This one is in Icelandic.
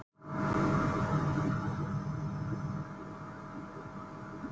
Fyrir þremur árum var auðvelt að komast þar í mánaðarleigu, sem nú er ógerlegt.